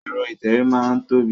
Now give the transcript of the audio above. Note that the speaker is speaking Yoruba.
Ẹ̀rọ ìtẹ̀wé máa n tóbi.